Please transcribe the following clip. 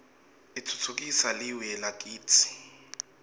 utfutfukisa liue lakitsi